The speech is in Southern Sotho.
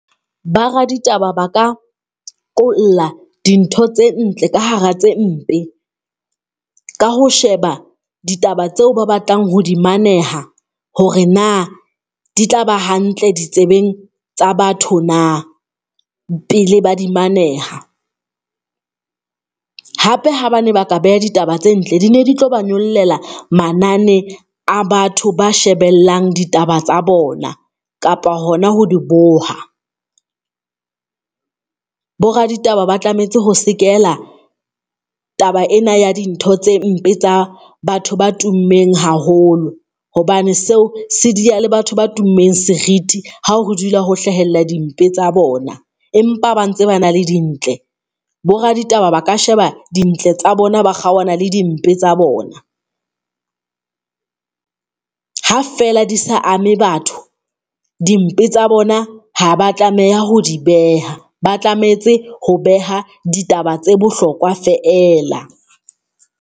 Ba re ditaba ba ka qolla dintho tse ntle ka hara tse mpe ka ho sheba ditaba tseo ba batlang ho di maneha hore na, di tla ba hantle ditsebeng tsa batho na pele ba di maneha. Hape ha ba ne ba ka beha ditaba tse ntle, di ne di tlo ba nyollela manane a batho ba shebellang ditaba tsa bona kapa hona ho di boha. Boraditaba ba tlametse ho sekela taba ena ya dintho tse mpe tsa batho ba tummeng haholo, hobane seo se diya le batho ba tummeng seriti. Ha ho dula ho hlahella dimpe tsa bona, empa ba ntse ba na le dintle boraditaba ba ka sheba dintle tsa bona, ba kgaohana le dimpe tsa bona ha feela di sa ame batho dimpe tsa bona haba tlameha ho di beha. Ba tlametse ho beha ditaba tse bohlokwa feela.